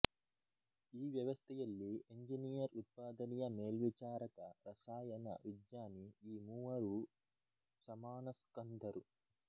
ಈ ವ್ಯವಸ್ಥೆಯಲ್ಲಿ ಎಂಜಿನಿಯರ್ ಉತ್ಪಾದನೆಯ ಮೇಲ್ವಿಚಾರಕ ರಸಾಯನ ವಿಜ್ಞಾನಿ ಈ ಮೂವರೂ ಸಮಾನಸ್ಕಂಧರು